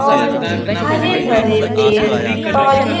और हरे भरे पेड़ पौधे--